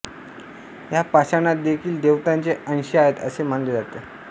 ह्या पाषाणांत देखिल देवतांचे अंश आहेत असे मानले जाते